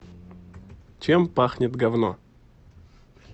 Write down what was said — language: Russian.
чем пахнет говно